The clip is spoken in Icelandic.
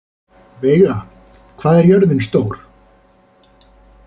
Veiga, hvað er jörðin stór?